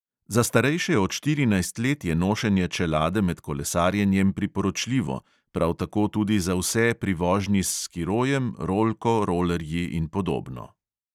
Za starejše od štirinajst let je nošenje čelade med kolesarjenjem priporočljivo, prav tako tudi za vse pri vožnji s skirojem, rolko, rolerji in podobno.